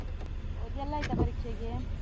ಓದಿ ಎಲ್ಲ ಆಯ್ತಾ ಪರೀಕ್ಷೆಗೆ?